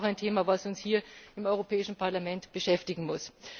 Aber es ist auch ein Thema, das uns hier im Europäischen Parlament beschäftigen muss.